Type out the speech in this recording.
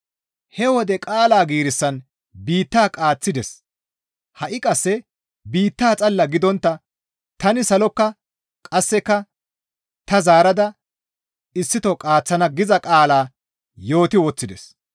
He wode qaala giirissan biitta qaaththides; «Ha7i qasse biitta xalla gidontta tani salokka qasseka ta zaarada issito qaaththana» giza qaala yooti woththides.